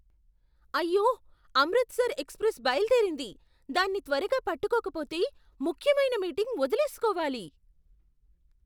అయ్యో! అమృత్సర్ ఎక్స్ప్రెస్ బయలుదేరింది. దాన్ని త్వరగా పట్టుకోకపోతే ముఖ్యమైన మీటింగ్ వదిలేసుకోవాలి!